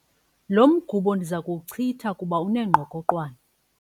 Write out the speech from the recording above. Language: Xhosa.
Lo mgubo ndiza kuwuchitha kuba unengqokoqwane.